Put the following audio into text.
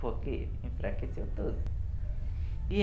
Porque enfraqueceu tudo.